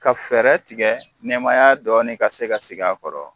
Ka fɛɛrɛ tigɛ nɛmaya dɔɔnin ka se ka sigi a kɔrɔ